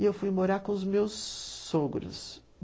E eu fui morar com os meus sogros.